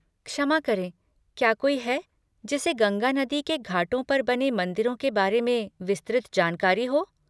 क्षमा करें, क्या कोई है, जिसे गंगा नदी के घाटों पर बने मंदिरों के बारे में विस्तृत जानकारी हो?